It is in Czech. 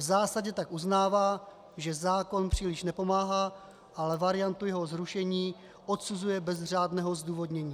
V zásadě tak uznává, že zákon příliš nepomáhá, ale variantu jeho zrušení odsuzuje bez řádného zdůvodnění.